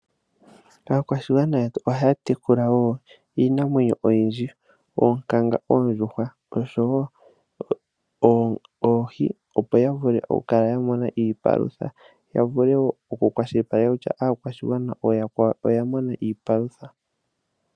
Aakwashigwana yetu ohaya tekula iinamwenyo oyindji ngashi oonkanga, oondjuhwa oshowo oohi, opo ya vule okukala ya mona iipalutha. Ya vule oku okukwashilipaleka kutya aakwashigwana ooyakwawo oya mona iipalutha.